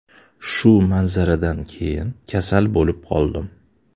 Shu manzaradan keyin kasal bo‘lib qoldim.